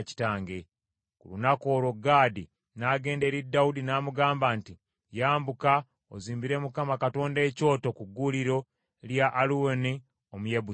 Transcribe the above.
Ku lunaku olwo Gaadi n’agenda eri Dawudi n’amugamba nti, “Yambuka ozimbire Mukama Katonda ekyoto ku gguuliro lya Alawuna Omuyebusi.”